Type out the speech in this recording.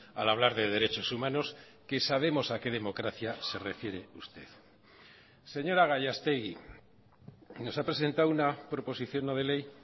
al hablar de derechos humanos que sabemos a qué democracia se refiere usted señora gallastegui nos ha presentado una proposición no de ley